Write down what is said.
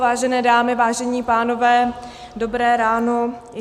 Vážené dámy, vážení pánové, dobré ráno.